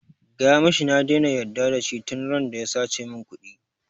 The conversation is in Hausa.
Gaya mishi na daina yarda da shi tun randa ya sace min ƙudi